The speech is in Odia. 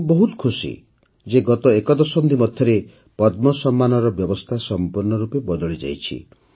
ମୁଁ ବହୁତ ଖୁସି ଯେ ଗତ ଏକ ଦଶନ୍ଧି ମଧ୍ୟରେ ପଦ୍ମ ସମ୍ମାନର ବ୍ୟବସ୍ଥା ସଂପୂର୍ଣ୍ଣ ରୂପେ ବଦଳିଯାଇଛି